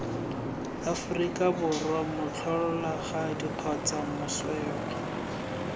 aforika borwa motlholagadi kgotsa moswelwa